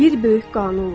Bir böyük qanunla.